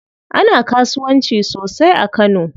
Ana kasuwanci sosai a kano.